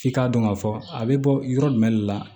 F'i k'a dɔn k'a fɔ a bɛ bɔ yɔrɔ jumɛn de la